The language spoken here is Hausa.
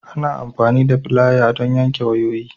Ana amfani da filaya don yanke wayoyi.